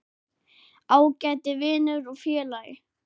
Ágæti vinur og félagi.